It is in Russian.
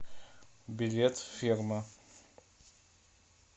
билет ферма